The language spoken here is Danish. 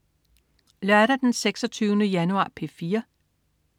Lørdag den 26. januar - P4: